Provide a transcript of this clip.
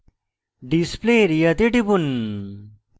display area তে টিপুন